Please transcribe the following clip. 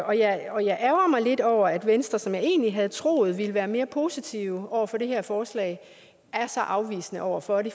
og jeg og jeg ærgrer mig lidt over at venstre som jeg egentlig havde troet ville være mere positiv over for det her forslag er så afvisende over for det